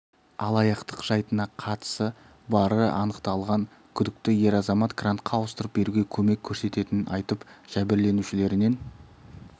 алаяқтық жайтына қатысы бары анықталған күдікті ер азамат грантқа ауыстырып беруге көмек көрсететінін айтып жәбірленушілерінен